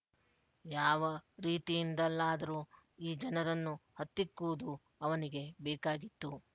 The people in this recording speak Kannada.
ಯಾವ ರೀತಿಯಿಂದಲಾದರೂ ಈ ಜನರನ್ನು ಹತ್ತಿಕ್ಕುವುದು ಅವನಿಗೆ ಬೇಕಾಗಿತ್ತು